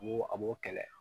A b'o a b'o kɛlɛ